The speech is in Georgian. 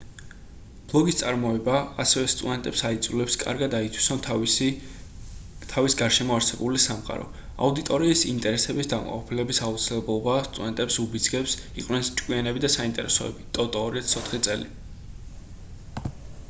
ბლოგის წარმოება ასევე სტუდენტებს აიძულებს კარგად აითვისონ თავის გარშემო არსებული სამყარო . აუდიტორიის ინტერესების დაკმაყოფილების აუცილებლობა სტუდენტებს უბიძგებს იყვნენ ჭკვიანები და საინტერესონი toto 2004 წელი